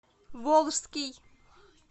волжский